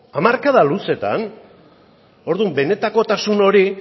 hamarkada luzeetan orduan benetakotasun hori